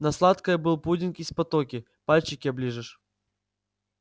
на сладкое был пудинг из патоки пальчики оближешь